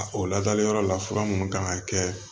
O ladali yɔrɔ la fura minnu kan ka kɛ